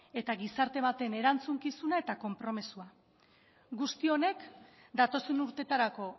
eta gizarte baten erantzukizuna eta konpromisoa guzti honek datozen urteetarako